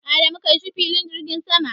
Adamu kai shi filin jirgin sama.